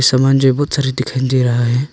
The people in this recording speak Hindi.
सामान सारे दिखाई दे रहा है।